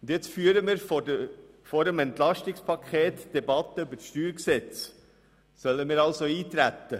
Jetzt führen wir vor der Beratung des EP die Debatte über das StG. Sollen wir darauf eintreten?